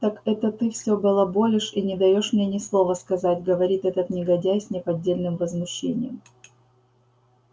так это ты всё балаболишь и не даёшь мне ни слова сказать говорит этот негодяй с неподдельным возмущением